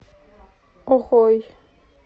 охой